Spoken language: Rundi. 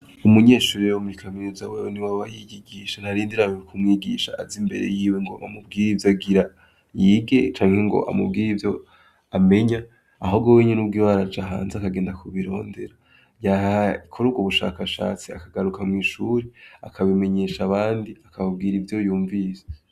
Umunyeshurirewo muri ikamenezawewe ni wa abahigigisha ntarindirawe kumwigisha aza imbere yiwe ngo amubwire ivyo agira yige canke ngo amubwire ivyo amenya aho gowe nyene ubwiwe araja hanze akagenda kubirondera yahay ikora urwo ubushakashatsi akagaruka mw'ishuri akabimenyesha abandi akababwira ivyo yumvise.